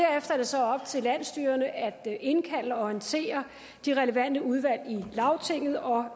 så op til landsstyrerne at indkalde og orientere de relevante udvalg i lagtinget og